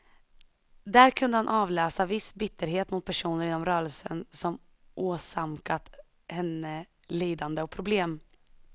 Där kunde han avläsa viss bitterhet mot personer inom rörelsen som åsamkat henne lidande och problem.